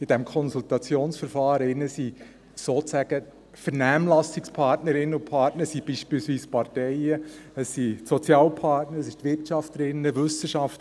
In diesem Konsultationsverfahren sind beispielsweise die Parteien sozusagen Vernehmlassungspartnerinnen und -partner, die Sozialpartner, und dabei sind auch die Wirtschaft und die Wissenschaft.